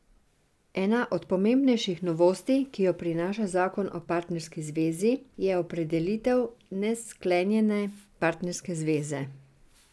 Ena od pomembnejših novosti, ki jo prinaša zakon o partnerski zvezi, je opredelitev nesklenjene partnerske zveze.